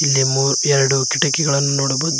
ಇಲ್ಲಿ ಮೂರ್ ಎರಡು ಕಿಟಕಿಗಳನ್ನು ನೋಡಬೋದು.